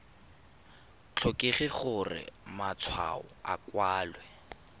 tlhokege gore matshwao a kwalwe